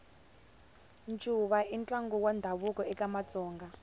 ncuva i ntlangu wa ndhavuko eka matsonga